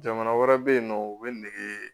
Jamana wɛrɛ bɛ yen nɔ u bɛ nɛgɛ